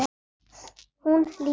Hún lítur til mín.